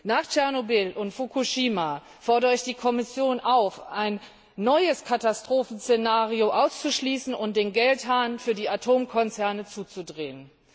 Nach Tschernobyl und Fukushima fordere ich die Kommission auf, ein neues Katastrophenszenario auszuschließen und den Geldhahn für die Atomkonzerne zuzudrehen!